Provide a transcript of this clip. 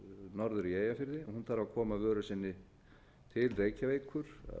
norður í eyjafirði þarf að koma vöru sinni til reykjavíkur